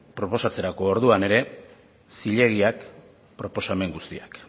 proposatzerako orduan ere zilegiak proposamen guztiak